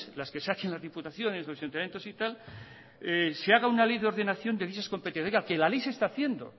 las que saquen las diputaciones los ayuntamientos y tal se haga una ley de ordenación de dichas competencias oiga que la ley se está haciendo